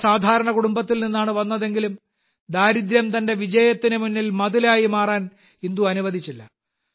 വളരെ സാധാരണ കുടുംബത്തിൽ നിന്നാണ് വന്നതെങ്കിലും ദാരിദ്ര്യം തന്റെ വിജയത്തിനു മുന്നിൽ മതിലായി മാറാൻ ഇന്ദു അനുവദിച്ചില്ല